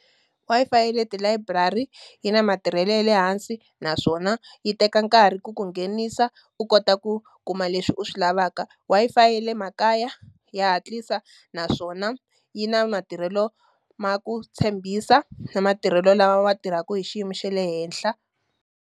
Wi-Fi ya le ti-library yi na matirhelo ya le hansi naswona yi teka nkarhi ku ku nghenisa, u kota ku kuma leswi u swi lavaka. Wi-Fi ya le makaya ya hatlisa, naswona yi na matirhelo ma ku tshembisa na matirhelo lawa ya tirhaka hi xiyimo xa le henhla.